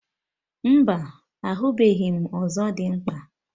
Mba, ahụbeghị m ọzọdimgba